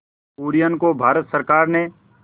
कुरियन को भारत सरकार ने